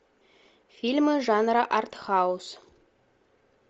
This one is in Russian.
фильмы жанра артхаус